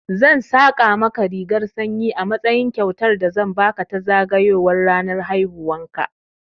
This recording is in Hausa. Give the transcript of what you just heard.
Zan saƙa maka rigar sanyi a matsayin kyautar da zan baka ta zagayowar ranar haihuwan ka.